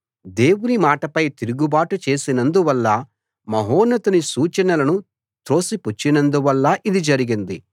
దేవుని మాటపై తిరుగుబాటు చేసినందువల్ల మహోన్నతుని సూచనలను త్రోసిపుచ్చినందువల్ల ఇది జరిగింది